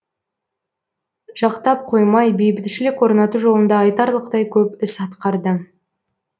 жақтап қоймай бейбітшілік орнату жолында айтарлықтай көп іс атқарды